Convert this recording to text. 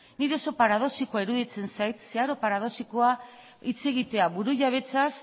niri oso paradoxikoa iruditzen zait zeharo paradoxikoa hitz egitea burujabetzaz